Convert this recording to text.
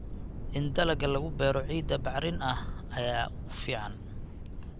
In dalagga lagu beero ciidda bacrin ah ayaa ugu fiican.